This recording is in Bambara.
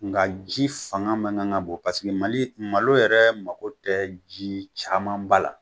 Nga ji fanga man kan ka bon, paseke mali malo yɛrɛ mago tɛ ji caman ba la.